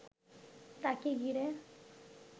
তাকে ঘিরে